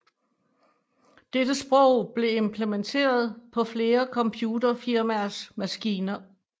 Dette sprog blev implementeret på flere computerfirmaers maskiner